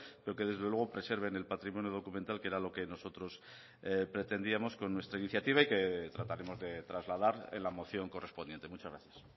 pero que desde luego preserven el patrimonio documental que era lo que nosotros pretendíamos con nuestra iniciativa y que trataremos de trasladar en la moción correspondiente muchas gracias